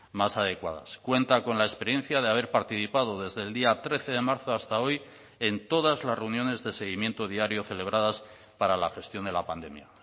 más adecuadas cuenta con la experiencia de haber participado desde el día trece de marzo hasta hoy en todas las reuniones de seguimiento diario celebradas para la gestión de la pandemia